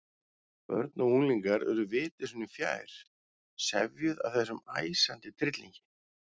Börn og unglingar urðu viti sínu fjær, sefjuð af þessum æsandi tryllingi.